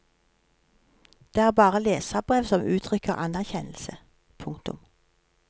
Det er bare leserbrev som uttrykker anerkjennelse. punktum